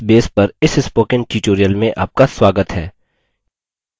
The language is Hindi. libreoffice base पर इस spoken tutorial में आपका स्वागत है